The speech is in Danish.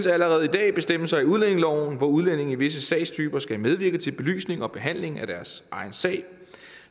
allerede bestemmelser i udlændingeloven hvor udlændinge i visse sagstyper skal medvirke til belysning og behandling af deres egen sag